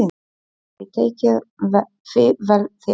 Hann hafði tekið því vel, þegar